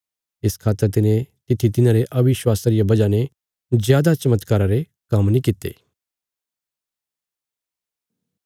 इस खातर तिने तित्थी तिन्हांरे अविश्वासा रिया वजह ने जादा चमत्कारा रे काम्म नीं कित्ते